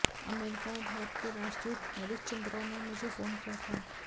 America में भारत के राजदूत नरेश चंद्रा ने मुझे फोन किया था